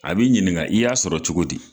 A b'i ɲininga i y'a sɔrɔ cogo di